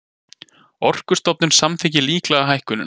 Orkustofnun samþykkir líklega hækkunina